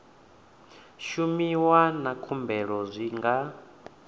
shumiwa na khumbelo zwi nga